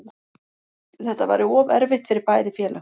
Þetta væri of erfitt fyrir bæði félög